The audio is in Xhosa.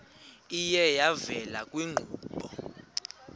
iye yavela kwiinkqubo